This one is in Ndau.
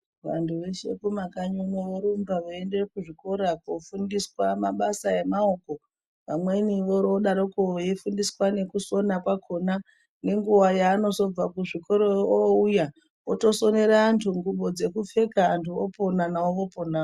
Vantu veshe kumakanyi uno vorumba veienda kuzvikora kofundiswa mabasa emaoko vamweni vodoroko veifundiswa nekusona kwakona nenguwa yaanozobva kuzvikoro ouya otosomere antu ngubo dzekupfeka anhu opona nawo oponawo.